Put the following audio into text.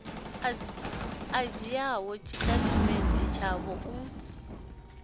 a dzhiaho tshitatamennde tshavho u